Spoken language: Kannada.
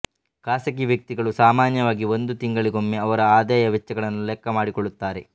ಖಾಸಗಿ ವ್ಯಕ್ತಿಗಳು ಸಾಮನ್ಯವಾಗಿ ಒಂದು ತಿಂಗಳಿಗೊಮ್ಮೆ ಅವರ ಆದಾಯ ವೆಚ್ಚಗಳನ್ನು ಲೆಕ್ಕ ಮಾಡಿಕೊಳ್ಳುತ್ತಾರೆ